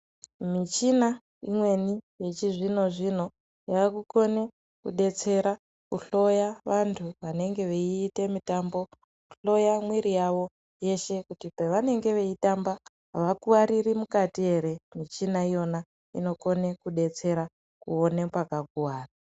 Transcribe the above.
Michina imweni yechizvino zvino yakakona kudetsera vantu vanenge veita mitambo kuhloya mwiri yawo yeshe kuti pavanenge veitamba avakuwariri mukati ere akone kudetsera kuona pakakuwara.